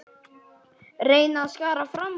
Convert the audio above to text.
Reyna að skara fram úr.